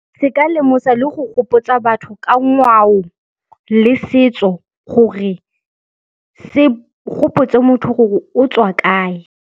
Se ka lemosa le go gopotsa batho ka ngwao le setso gore se gopotse motho gore o tswa kae.